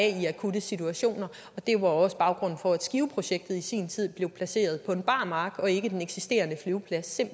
i akutte situationer det var også baggrunden for at skiveprojektet i sin tid blev placeret på en bar mark og ikke på den eksisterende flyveplads